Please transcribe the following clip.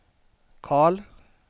Carl